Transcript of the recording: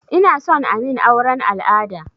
Inason amin auren al'ada